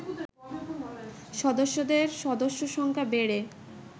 সদস্যদের সদস্য সংখ্যা বেড়ে